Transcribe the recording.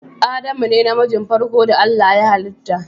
Adamu ne na mijin farko da Allah ya hallita.